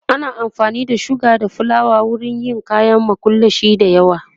ana amfani da suga da flawa wurin yin kayan makullashe da yawa